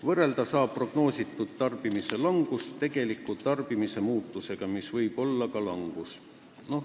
Võrrelda saab tarbimise prognoositud langust tarbimise tegeliku muutusega, mis võib olla ka langus.